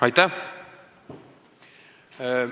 Aitäh!